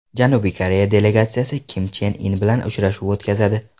Janubiy Koreya delegatsiyasi Kim Chen In bilan uchrashuv o‘tkazadi.